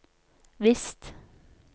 visst